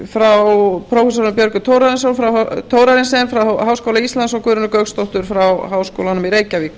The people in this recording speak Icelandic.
frá prófessor björgu thorarensen frá háskóla íslands og guðrúnu gauksdóttur frá háskólanum í reykjavík